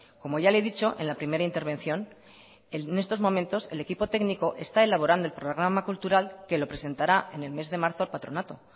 como ya le he dicho en la primera intervención en estos momentos el equipo técnico está elaborando el programa cultural que lo presentará en el mes de marzo al patronato